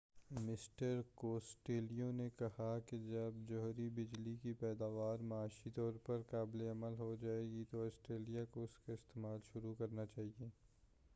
mister Costello نے کہا کہ جب جوہری بجلی کی پیداوار معاشی طور پر قابل عمل ہو جائے گی تو آسٹریلیا کو اس کا استعمال شروع کرنا چاہئے